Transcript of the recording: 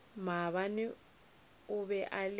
maabane o be a le